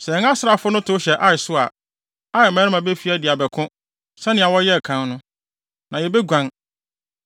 Sɛ yɛn asraafo no tow hyɛ Ai so a, Ai mmarima befi adi abɛko, sɛnea wɔyɛɛ kan no, na yebeguan.